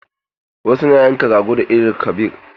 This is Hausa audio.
Wasu na yanka rago da Eid-el-kabir.